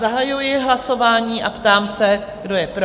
Zahajuji hlasování a ptám se, kdo je pro?